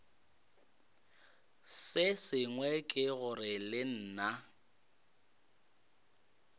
sengwe ke gore le nna